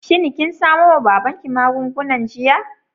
shin kin samo wa babanki magungunan jiya?